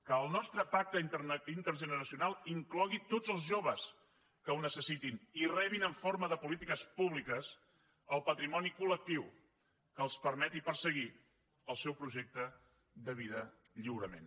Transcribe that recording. que el nostre pacte intergeneracional inclogui tots els joves que ho necessitin i rebin en forma de polítiques públiques el patrimoni colprojecte de vida lliurement